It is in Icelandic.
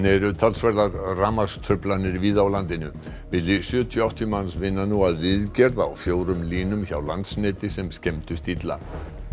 eru talsverðar rafmagnstruflanir víða á landinu milli sjötíu og áttatíu manns vinna nú að viðgerð á fjórum línum hjá Landsneti sem skemmdust illa